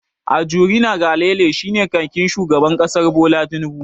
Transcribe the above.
Ajuri Ngalale shine kakakin shugaban kasar Bola Tinnubu.